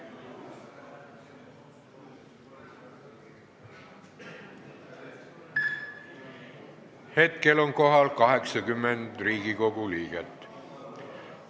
Kohaloleku kontroll Hetkel on kohal 80 Riigikogu liiget.